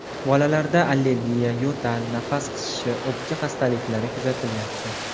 Bolalarda allergiya, yo‘tal, nafas qisishi, o‘pka xastaliklari kuzatilyapti.